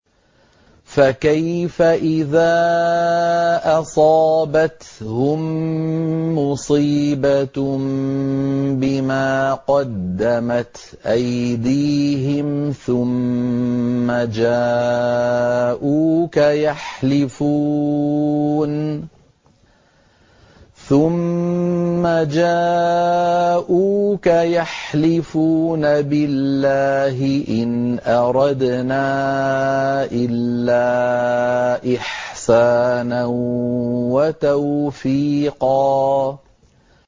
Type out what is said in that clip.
فَكَيْفَ إِذَا أَصَابَتْهُم مُّصِيبَةٌ بِمَا قَدَّمَتْ أَيْدِيهِمْ ثُمَّ جَاءُوكَ يَحْلِفُونَ بِاللَّهِ إِنْ أَرَدْنَا إِلَّا إِحْسَانًا وَتَوْفِيقًا